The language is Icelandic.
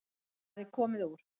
Hann hafði komið úr